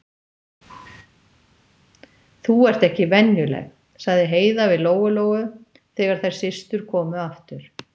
Þú ert ekki venjuleg, sagði Heiða við Lóu-Lóu þegar þær systur komu aftur.